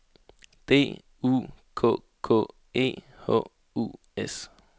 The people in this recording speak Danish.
D U K K E H U S